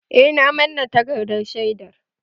Eh, na manne takardar shaidar